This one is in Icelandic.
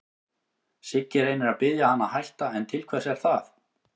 Siggi reynir að biðja hann að hætta, en til hvers er það?